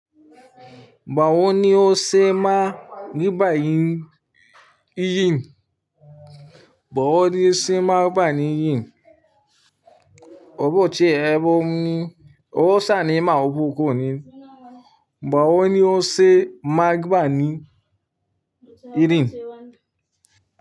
Ni o ṣe máa gbà ní Ìrìn? Báwo ni o ṣe máa gbà ní Ìrìn? Ó bó ti ẹgbó ni, ó sá ni màá bó oko ni. Báwo ni o ṣe máa gbà ní Ìrìn?